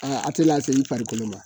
a tɛ lase i farikolo ma